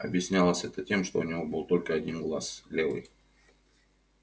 объяснялось это тем что у него был только один глаз левый